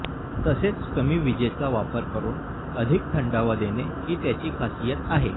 तसेच कमी विजेचा वापर करून अधिक थंडावा देणे ही त्याची खासियत आहे